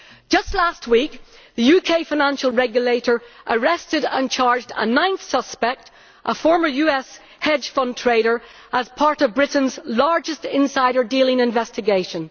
Just last week, the UK Financial Regulator arrested and charged a ninth suspect, a former US hedge fund trader, as part of Britain's largest insider dealing investigation.